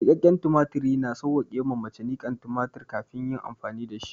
Niƙaƙƙen tumatiri, na sawwake ma mace niƙan tumatir kafin ta yi amfani da shi.